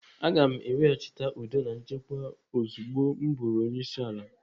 Aga m ewechite udo na nchekwa ozugbo m bụrụ onyeisiala.